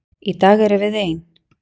Í dag erum við ein.